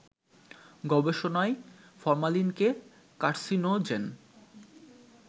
গবেষণায় ফরমালিনকে কার্সিনোজেন